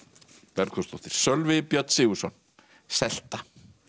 Bergþórsdóttir Sölvi Björn Sigurðsson selta